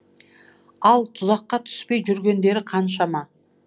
ал тұзаққа түспей жүргендері қаншама